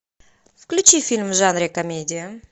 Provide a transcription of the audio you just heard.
включи фильм в жанре комедия